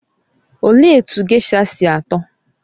Olee etu gésha sị atọ?